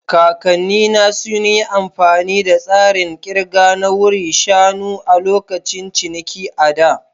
Kakannina sun yi amfani da tsarin ƙirga na wuri shanu a lokacin ciniki a da.